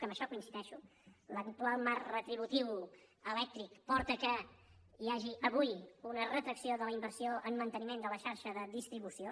que en això hi coincideixo l’actual marc retributiu elèctric porta que hi hagi avui una retracció de la inversió en manteniment de la xarxa de distribució